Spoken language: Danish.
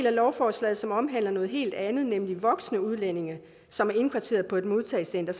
af lovforslaget som omhandler noget helt andet nemlig voksne udlændinge som er indkvarteret på et modtagecenter